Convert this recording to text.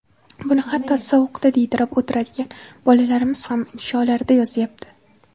Buni hatto, sovuqda diydirab o‘tiradigan bolalarimiz ham insholarida yozyapti.